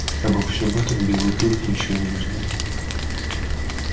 обо всём этом белый клык ничего не знал